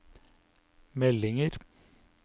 meldinger